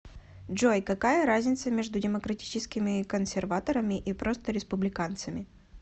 джой какая разница между демократическими консерваторами и просто республиканцами